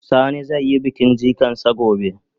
Sani zai yi bikin jikan sa gobe.